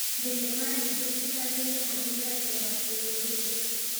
Thenema nyingĩ cicangĩire harĩ mĩario ya kĩrũrĩrĩ.